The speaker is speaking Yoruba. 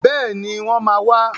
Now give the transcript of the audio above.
Bẹ́ẹ̀ni, wọ́n máa wà.